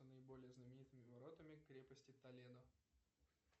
наиболее знаменитыми воротами крепости толедо